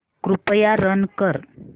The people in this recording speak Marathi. कृपया रन कर